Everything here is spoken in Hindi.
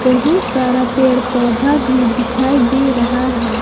बहुत सारा पेड़ पौधा भी दिखाई दे रहा है।